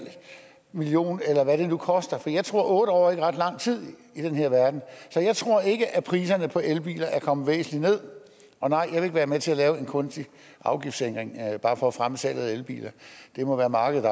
million kroner eller hvad det nu koster jeg tror ikke at otte år er ret lang tid i den her verden så jeg tror ikke at priserne på elbiler er kommet væsentligt nederst og nej jeg vil ikke være med til at lave en kunstig afgiftsændring bare for at fremme salget af elbiler det må være markedet